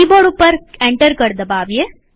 keyboard ઉપર enter કળ દબાવીએ